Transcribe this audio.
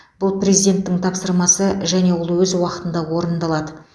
бұл президенттің тапсырмасы және ол өз уақытында орындалады